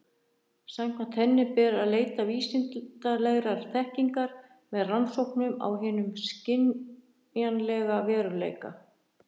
Samkvæmt henni ber að leita vísindalegrar þekkingar með rannsóknum á hinum skynjanlega veruleika.